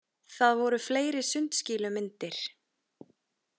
Það voru fleiri sundskýlumyndir.